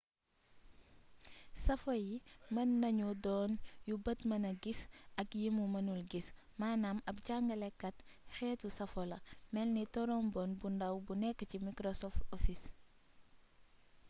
safo yi mën nañu doon yu bët mëna gis ak yimu mënul gis manaam ab jàngalekat xeetu safo la melni torombon bu ndàw bu nekk ci microsoft office